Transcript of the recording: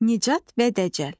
Nicat və Dəcəl.